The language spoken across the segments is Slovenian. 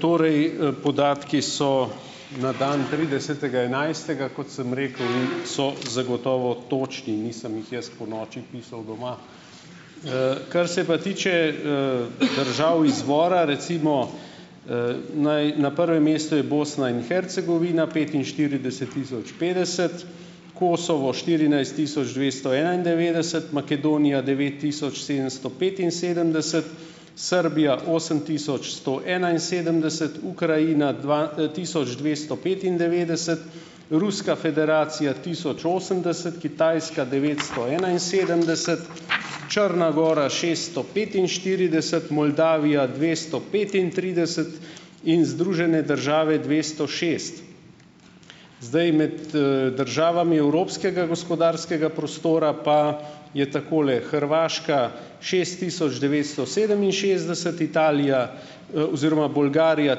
Torej, podatki so na dan tridesetega enajstega, kot sem rekel, in so zagotovo točni. Nisem jih jaz ponoči pisal doma. Kar se pa tiče, držav izvora, recimo, naj, na prvem mestu je Bosna in Hercegovina petinštirideset tisoč petdeset, Kosovo štirinajst tisoč dvesto enaindevetdeset, Makedonija devet tisoč sedemsto petinsedemdeset, Srbija osem tisoč sto enainsedemdeset, Ukrajina dva, tisoč dvesto petindevetdeset, Ruska federacija tisoč osemdeset, Kitajska devetsto enainsedemdeset, Črna Gora šeststo petinštirideset, Moldavija dvesto petintrideset in Združene države dvesto šest. Zdaj med, državami evropskega gospodarskega prostora pa je takole: Hrvaška šest tisoč devetsto sedeminšestdeset, Italija, oziroma Bolgarija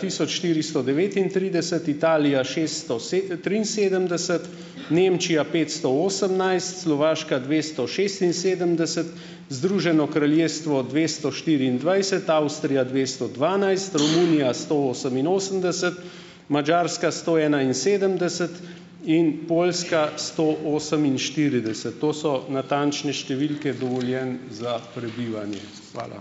tisoč štiristo devetintrideset, Italija šesto triinsedemdeset, Nemčija petsto osemnajst, Slovaška dvesto šestinsedemdeset, Združeno kraljestvo dvesto štiriindvajset, Avstrija dvesto dvanajst, Romunija sto oseminosemdeset, Madžarska sto enainsedemdeset in Poljska sto oseminštirideset. To so natančne številke dovoljenj za prebivanje. Hvala.